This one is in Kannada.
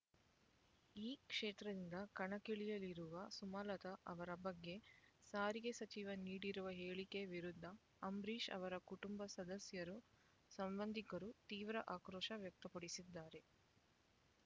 ಈ ಕ್ಷೇತ್ರದಿಂದ ಕಣಕ್ಕಿಳಿಯಲಿರುವ ಸುಮಲತಾ ಅವರ ಬಗ್ಗೆ ಸಾರಿಗೆ ಸಚಿವ ನೀಡಿರುವ ಹೇಳಿಕೆ ವಿರುದ್ಧ ಅಂಬರೀಷ್ ಅವರ ಕುಟುಂಬ ಸದಸ್ಯರು ಸಂಬಂಧಿಕರು ತೀವ್ರ ಆಕ್ರೋಶ ವ್ಯಕ್ತಪಡಿಸಿದ್ದಾರೆ